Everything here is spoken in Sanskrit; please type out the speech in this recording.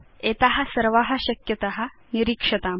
एता सर्वा शक्यता निरीक्षाताम्